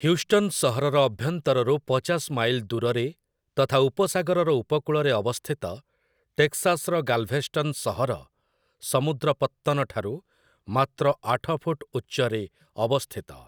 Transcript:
Houston ସହରର ଅଭ୍ୟନ୍ତରରୁ ପଚାଶ ମାଇଲ ଦୂରରେ ତଥା ଉପସାଗରର ଉପକୂଳରେ ଅବସ୍ଥିତ, ଟେକ୍ସାସ୍‌ର ଗାଲ୍‌ଭେଷ୍ଟନ୍ ସହର ସମୁଦ୍ର ପତ୍ତନଠାରୁ ମାତ୍ର ଆଠ ଫୁଟ ଉଚ୍ଚରେ ଅବସ୍ଥିତ ।